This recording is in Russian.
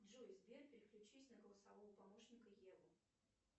джой сбер переключись на голосового помощника еву